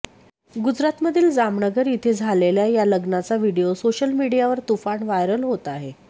गुजरातमधील जामनगर इथे झालेल्या ह्या लग्नाचा व्हिडिओ सोशल मीडियावर तुफान व्हायरल होत आहे